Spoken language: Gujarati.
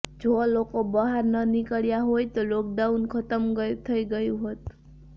જો લોકો બહાર ન નીકળ્યા હોત તો લોકડાઉન ખતમ થઈ ગયું હોત